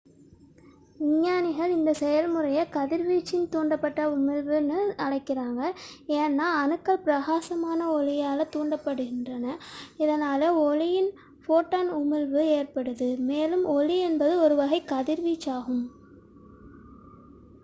"விஞ்ஞானிகள் இந்த செயல்முறையை "கதிர்வீச்சின் தூண்டப்பட்ட உமிழ்வு" என்று அழைக்கிறார்கள் ஏனெனில் அணுக்கள் பிரகாசமான ஒளியால் தூண்டப்படுகின்றன இதனால் ஒளியின் ஃபோட்டான் உமிழ்வு ஏற்படுகிறது மேலும் ஒளி என்பது ஒரு வகை கதிர்வீச்சாகும்.